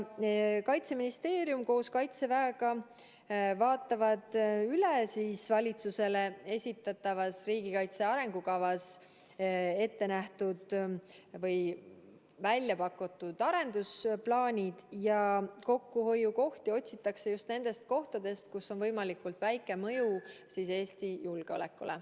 Kaitseministeerium koos Kaitseväega vaatavad üle valitsusele esitatavas riigikaitse arengukavas välja pakutud arendusplaanid ja kokkuhoiukohti otsitakse just nendest kohtadest, millel on võimalikult väike mõju Eesti julgeolekule.